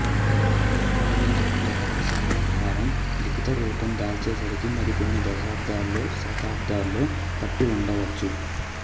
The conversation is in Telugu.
ఇలా సంకలించబడ్డ కథల సమాహారం లిఖిత రూపం దాల్చేసరికి మరికొన్ని దశాబ్దాలో శతాబ్దాలో పట్టి ఉండవచ్చు